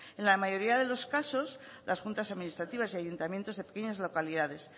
en la mayoría de los casos las juntas administrativas y ayuntamientos de pequeñas localidades